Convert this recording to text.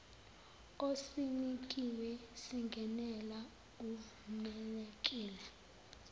osinikiwe singenela uvumelekile